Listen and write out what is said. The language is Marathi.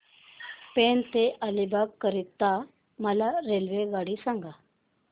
पेण ते अलिबाग करीता मला रेल्वेगाडी सांगा